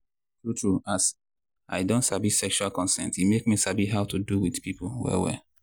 true true as i don sabi sexual consent e make me sabi how to do with people well well.